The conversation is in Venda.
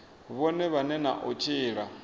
vhone vhane na u tshila